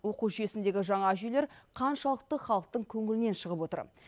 оқу жүйесіндегі жаңа жүйелер қаншалықты халықтың көңілінен шығып отыр